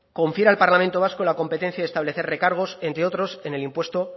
confiere al parlamento vasco la competencia de establecer recargos entre otros en el impuesto